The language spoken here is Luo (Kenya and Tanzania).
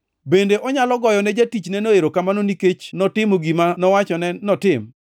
Bende onyalo goyone jatichneno erokamano nikech notimo gima nowachone notim?